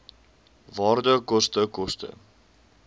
waarde koste koste